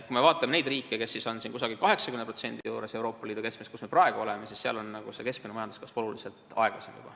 Kui me vaatame neid riike, kelle näitaja on 80% juures Euroopa Liidu keskmisest, siis seal on keskmine majanduskasv juba oluliselt aeglasem.